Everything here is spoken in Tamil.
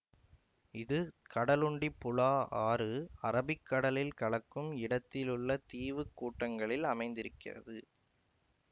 இது கடலுண்டிப்புழா ஆறு அரபிக் கடலில் கலக்கும் இடத்திலுள்ள தீவு கூட்டங்களில் அமைந்திருக்கிறது